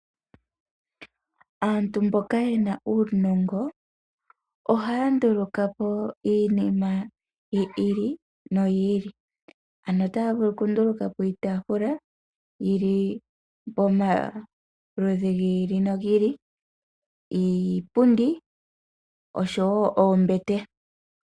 Aantu mboka yena uunongo ohaya nduluka po iinima yi ili noyi ili, ano otaya vulu okunduluka po iitaafula yili pomaludhi gi ili nogi ili, iipundi oshowo oombete.